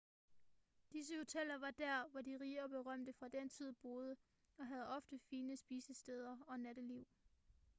disse hoteller var der hvor de rige og berømte fra den tid boede og havde ofte fine spisesteder og natteliv